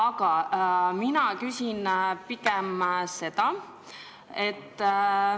Aga mina küsin pigem nii.